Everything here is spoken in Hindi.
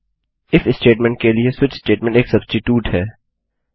इफ स्टेटमेंट के लिए स्विच स्टेटमेंट एक सब्स्टिटूट है